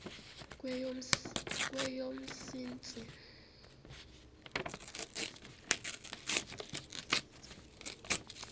kweyomntsintsi